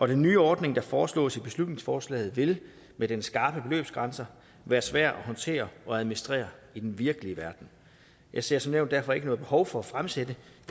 den nye ordning der foreslås i beslutningsforslaget vil med dens skarpe beløbsgrænser være svær at håndtere og administrere i den virkelige verden jeg ser som nævnt derfor ikke noget behov for at fremsætte